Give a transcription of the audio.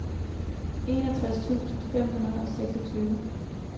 enogtres tusind fem hundrede og seksogtyve